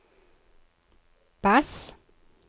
bass